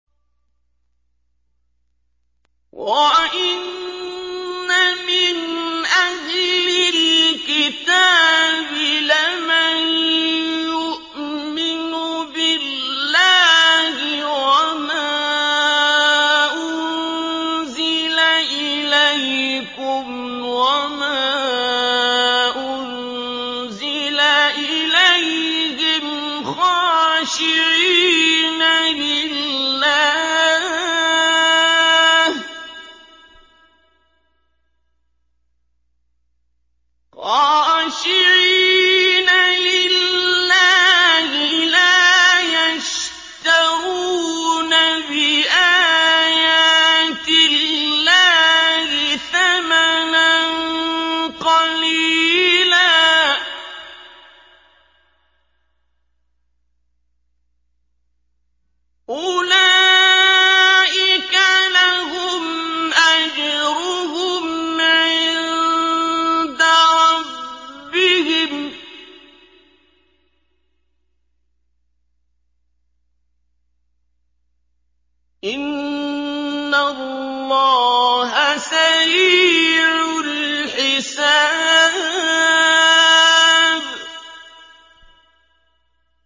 وَإِنَّ مِنْ أَهْلِ الْكِتَابِ لَمَن يُؤْمِنُ بِاللَّهِ وَمَا أُنزِلَ إِلَيْكُمْ وَمَا أُنزِلَ إِلَيْهِمْ خَاشِعِينَ لِلَّهِ لَا يَشْتَرُونَ بِآيَاتِ اللَّهِ ثَمَنًا قَلِيلًا ۗ أُولَٰئِكَ لَهُمْ أَجْرُهُمْ عِندَ رَبِّهِمْ ۗ إِنَّ اللَّهَ سَرِيعُ الْحِسَابِ